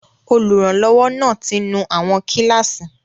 Olùrànlọ́wọ́ náà ti nú àwọn kíláàsì